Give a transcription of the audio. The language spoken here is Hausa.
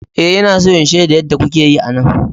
Ee, Ina so in shaida yadda kuke yi a nan.